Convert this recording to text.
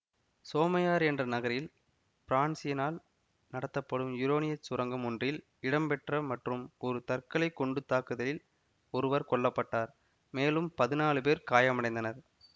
சோமையர் என்ற நகரில் பிரான்சினால் நடத்தப்படும் யுரேனியச் சுரங்கம் ஒன்றில் இடம்பெற்ற மற்றும் ஒரு தற்கொலை குண்டு தாக்குதலில் ஒருவர் கொல்ல பட்டார் மேலும் பதினாலு பேர் காயமடைந்தனர்